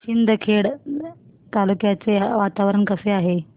शिंदखेडा तालुक्याचे वातावरण कसे आहे